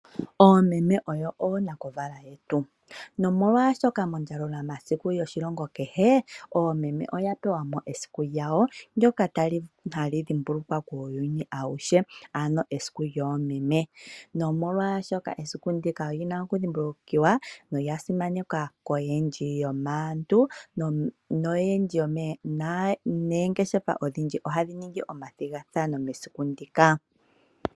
Oomeme oyo oonakuvala yetu. Nomolwaashoka mondjalulamasiku yetu yoshilongo kehe, oomeme oya pewa mo esiku lyawo ndoka tali dhimbulukiwa kuuyuni awuhe ano esiku lyoomeme. Nomolwaashoka esiku ndika olyi na okudhimbulukiwa nolya simanekwa koyendji yomaantu naanangeshefa ohaya ningi omathigathano mesiku ndika.